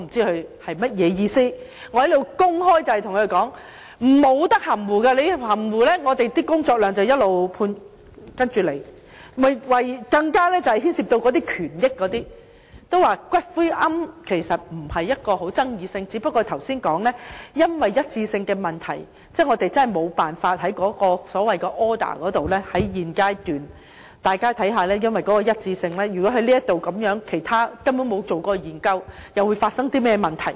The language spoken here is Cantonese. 其實，龕場並非具爭議性的問題，只不過正如剛才提到，由於一致性的問題，我們實在沒辦法在所謂的 order 上，在現階段......大家看看，由於一致性的問題，如果根本沒有做過研究，又會發生甚麼問題？